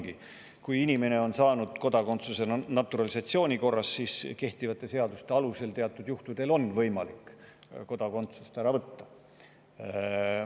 Aga kui inimene on saanud kodakondsuse naturalisatsiooni korras, siis on kehtivate seaduste alusel teatud juhtudel võimalik temalt kodakondsus ära võtta.